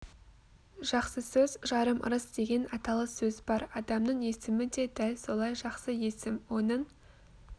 жақсы сөз жарым ырыс деген аталы сөз бар адамның есімі де дәл солай жақсы есім оның